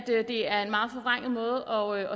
det er en meget forvrænget måde